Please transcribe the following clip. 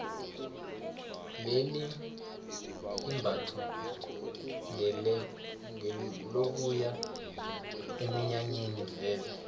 leli imbatho ngelokuya eminyanyeni vele